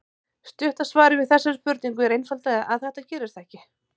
Stutta svarið við þessari spurningu er einfaldlega að þetta gerist ekki.